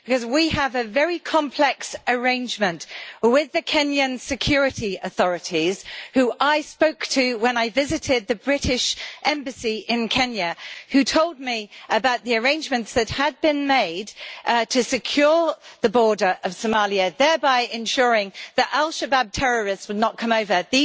We have a very complex arrangement with the Kenyan security authorities, who I spoke to when I visited the British Embassy in Kenya, and they told me about the arrangements that had been made to secure the border of Somalia, thereby ensuring that al Shabaab terrorists would not come over.